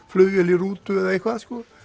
flugvél í rútu eða eitthvað